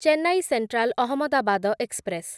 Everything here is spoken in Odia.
Chennai central Ahmedabad express